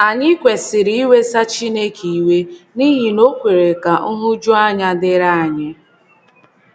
Ànyị kwesịrị iwesa Chineke iwe n’ihi na o o kwere ka nhụjuanya dịrị anyị.